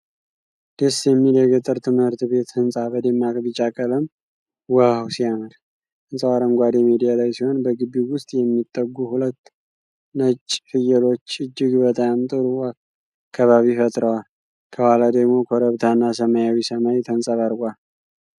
ደስ የሚል የገጠር ትምህርት ቤት ህንጻ በደማቅ ቢጫ ቀለም ዋው ሲያምር! ህንጻው አረንጓዴ ሜዳ ላይ ሲሆን በግቢው ውስጥ የሚግጡ ሁለት ነጭ ፍየሎች እጅግ በጣም ጥሩ ከባቢ ፈጥረዋል። ከኋላ ደግሞ ኮረብታ እና ሰማያዊ ሰማይ ተንጸባርቋል።